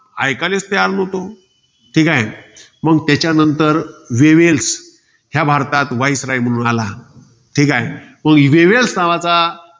ऐकायलेच तयार नव्हतं. ठीकाय. मंग त्याच्यानंतर वेवेल्स. ह्या भारतात viceroy म्हणून आला. ठीकाय. मंग वेवेल्स नावाचा